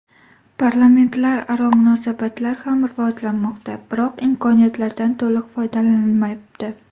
Parlamentlararo munosabatlar ham rivojlanmoqda, biroq imkoniyatlardan to‘liq foydalanilmayapti.